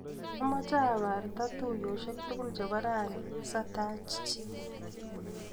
Amache abarte tuiyosiek tukul chebo rani satach chii.